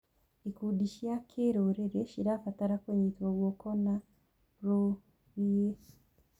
Ikundi cia kĩrũrĩrĩ cirabatara kũnyitwo guoko na rũrĩĩ.